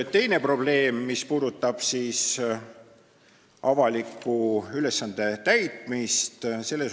Teine probleem puudutab avaliku ülesande täitmist.